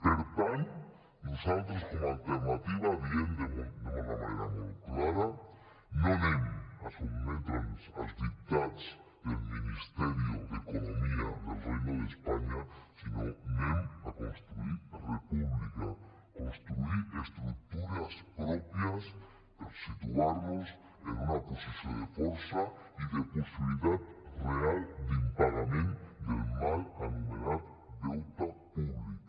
per tant nosaltres com a alternativa diem d’una manera molt clara no anem a sotmetre’ns als dictats del ministerio de economía del reino de españa sinó que anem a construir república construir estructures pròpies per situar nos en una posició de força i de possibilitat real d’impagament del mal anomenat deute públic